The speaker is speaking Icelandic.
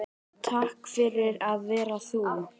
Takk fyrir að vera þú.